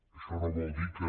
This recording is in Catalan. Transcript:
això no vol dir que